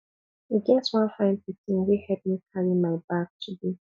e get one fine pikin wey help me carry my bag today